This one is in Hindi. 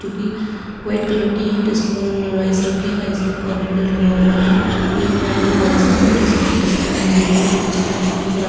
जोकि वाइट कलर हैं जिस पर राइस रखे हैं राइस पर कोरिएंडर लगा हुआ है ये फ्राइड जो राइस हैं जिसमें एक स्पून लगी हुई है जो की स्टील की है ब्रा --